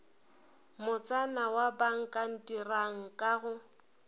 motsana wa bakantirang ka go